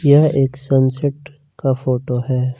यह एक सनसेट का फोटो है।